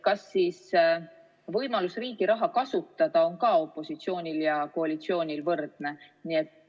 Kas siis võimalus riigi raha kasutada on ka opositsioonil ja koalitsioonil võrdne?